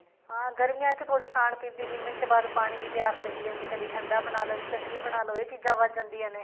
ਹਾਂਜੀ ਗਰਮੀਆਂ ਚ ਥੋੜੀ ਖਾਣ ਪੀਣ ਦੀ ਮਿੰਟ ਚ ਪਾਣੀ ਦੀ ਪਿਆਸ ਲੱਗੀ ਜਾਂਦੀ ਹੈ ਕਦੀ ਠੰਡਾ ਬਣਾਲੋ ਸ਼ਿਕੰਜਵੀ ਬਣਾ ਲੋ ਇਹ ਚੀਜ਼ਾਂ ਵਧ ਜਾਂਦੀਆਂ ਨੇ